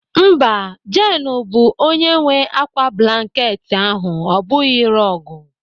Mba, Jeenu bụ onye nwe ákwá blanket ahụ ọ bụghị rọọgụ..